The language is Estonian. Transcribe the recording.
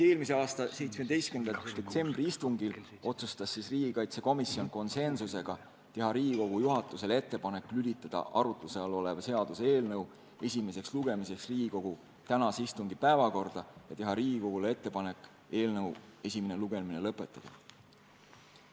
Eelmise aasta 17. detsembri istungil otsustas riigikaitsekomisjon konsensusega teha Riigikogu juhatusele ettepanek lülitada arutluse all olev seaduseelnõu esimeseks lugemiseks Riigikogu tänase istungi päevakorda ja teha ettepanek eelnõu esimene lugemine lõpetada.